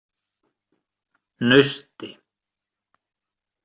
Nausti